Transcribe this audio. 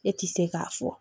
Ne ti se k'a fɔ